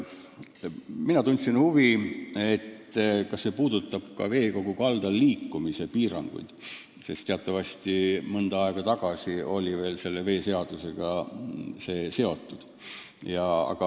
Mina tundsin huvi, kas see puudutab ka veekogu kaldal liikumise piiranguid – teatavasti mõni aeg tagasi oli see veel veeseadusega seotud.